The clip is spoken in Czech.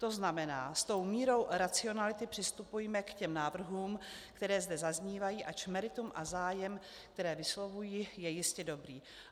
To znamená, s tou mírou racionality přistupujme k těm návrhům, které zde zaznívají, ač meritum a zájem, které vyslovují, je jistě dobrý.